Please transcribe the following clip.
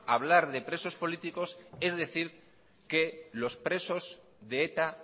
hablar de presos políticos es decir que los presos de eta